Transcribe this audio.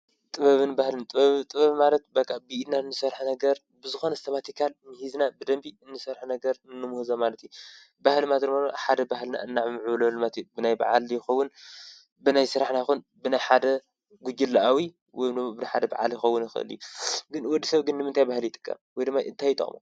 ጥበብን ባህልን ብ ጥበብ ማለት በቓ ብኢድናን ንሠርሐ ነገር ብዝኾን ዝተማቲካል ምኂዝና ብደንቢ እንሠርኅ ነገር እኖምሁ ዘማለቲ ባህል ማትርመሎ ሓደ ባህልና እናዕ ምእብለልማት ብናይ ብዓል ይኮውን ብናይ ሥራሕ ናይኮን ብናይ ሓደ ጕግለኣዊ ወምኑ ብናይ ሓደ በዓል ይኸውን ይኽእልዩ ግን ወዲ ሰብ ግኒምንታይ ባህል ኣይጥቀብ ወይድመይ እንታይተኦሞ።